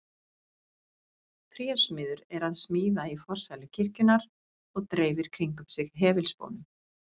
Trésmiður er að smíða í forsælu kirkjunnar og dreifir kringum sig hefilspónum.